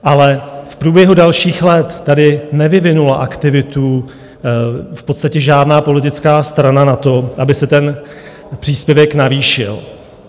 Ale v průběhu dalších let tady nevyvinula aktivitu v podstatě žádná politická strana na to, aby se ten příspěvek navýšil.